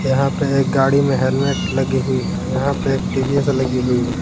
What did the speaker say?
यहां पे एक गाड़ी में हेलमेट लगी हुई है यहां पे एक टी_वी_एस लगी हुई है।